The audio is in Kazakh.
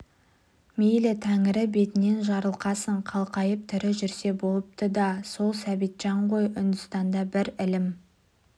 мейлі тәңірі бетінен жарылқасын қалқайып тірі жүрсе болыпты да и-е сол сәбитжан ғой үндістанда бір ілім